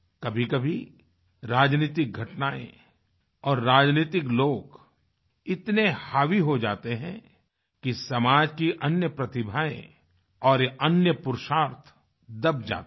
कभीकभी राजनीतिक घटनाएँ और राजनीतिक लोग इतने हावी हो जाते हैं कि समाज की अन्य प्रतिभाएँ और अन्य पुरुषार्थ दब जाते हैं